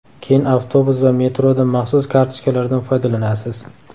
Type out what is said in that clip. Keyin avtobus va metroda maxsus kartochkalardan foydalanasiz.